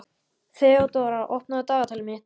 Þeódóra, opnaðu dagatalið mitt.